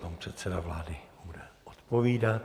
Pan předseda vlády bude odpovídat.